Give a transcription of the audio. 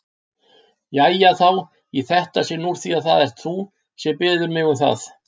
Jæja þá, í þetta sinn úr því það ert þú, sem biður mig um það.